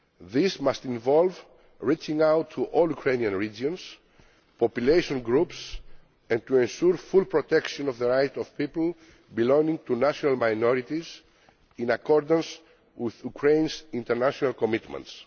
This must involve reaching out to all Ukrainian regions and population groups and ensuring full protection of the rights of people belonging to national minorities, in accordance with Ukraine's international commitments.